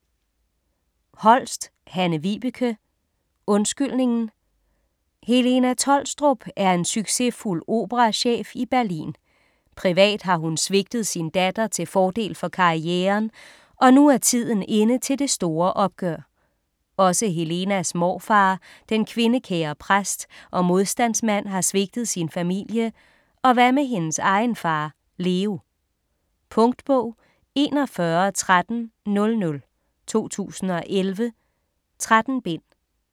Holst, Hanne-Vibeke: Undskyldningen Helena Tholstrup er en succesfuld operachef i Berlin. Privat har hun svigtet sin datter til fordel for karrieren, og nu er tiden inde til det store opgør. Også Helenas morfar, den kvindekære præst og modstandsmand, har svigtet sin familie, og hvad med hendes egen far Leo? Punktbog 411300 2011. 13 bind.